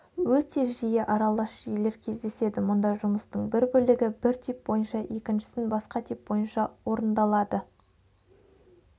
өте жиі аралас жүйелер кездеседі мұнда жұмыстың бір бөлігі бір тип бойынша екіншісі басқа тип бойынша орындалады